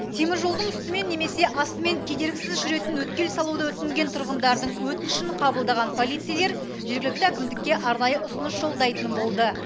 теміржолдың үстімен немесе астымен кедергісіз жүретін өткел салуды өтінген тұрғындардың өтінішін қабылдаған полицейлер жергілікті әкімдікке арнайы ұсыныс жолдайтын болды